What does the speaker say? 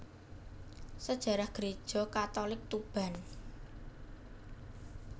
Sejarah Gereja Katolik Tuban